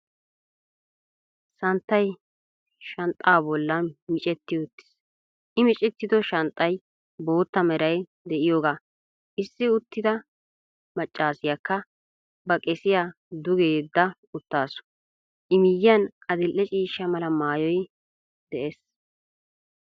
Santtay shanxxaa bollan miccetti uttiis, I miccettiddo shanxxay bootta meray de'iyoga, issi uttida maccassiyakka ba qesiya duge yeda uttaasu, I miyiyan adil"e ciishsha mala maayoy de'ees.